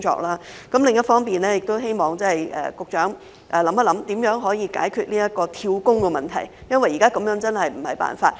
另一方面，亦希望局長研究如何解決"跳工"的問題，因為現時這樣真的不是辦法。